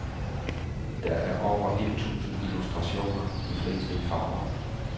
Der er over et tusind illustrationer, de fleste i farver.